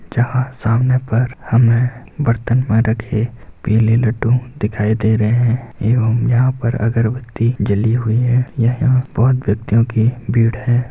जहाँ सामने पर हमें बर्तन में रखी पीले लड्डू दिखाई दे रहे हैं एवं यहाँ पर अगरबत्ती जली हुई है यह बहुत व्यक्तियों की भीड़ हैं।